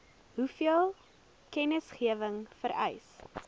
hoeveel kennisgewing vereis